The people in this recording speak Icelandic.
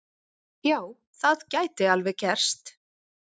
Já, það gæti alveg gerst.